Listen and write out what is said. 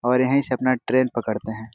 और यही से अपना ट्रैन पकड़ते है।